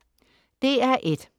DR1: